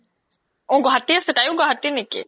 অ তাইও গুৱাহাতিৰ নেকি?